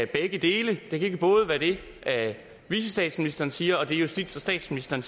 begge dele det kan ikke både være det vicestatsministeren siger og det justitsministeren